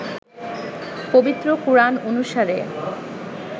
পবিত্র কোরআন অনুসারে